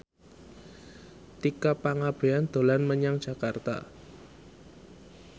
Tika Pangabean dolan menyang Jakarta